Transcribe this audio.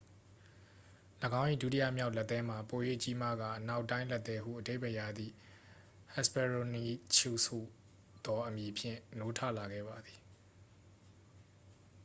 "၎င်း၏ ဒုတိယမြောက်လက်သည်းမှာ ပို၍ကြီးမားကာ "အနောက်တိုင်းလက်သည်း" ဟုအဓိပ္ပါယ်ရသည့် hesperonychus ဟူသောအမည်ဖြင့် နိုးထလာခဲ့ပါသည်။